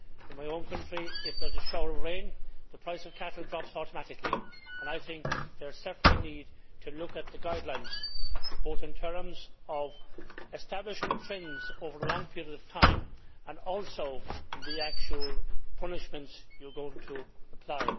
In my own country, if there is a shower of rain, the price of cattle drops automatically. I think there is certainly a need to look at the guidelines, both in terms of establishing trends over a long period of time and also in the actual punishments you are going to apply.